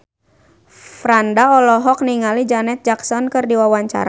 Franda olohok ningali Janet Jackson keur diwawancara